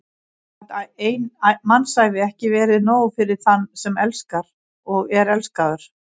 Gat ein mannsævi ekki verið nóg fyrir þann sem elskar og er elskaður?